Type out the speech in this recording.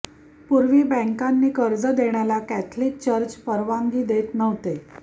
पूर्वी बॅंकांनी कर्ज देण्याला कॅथलिक चर्च परवानदी देत नव्हते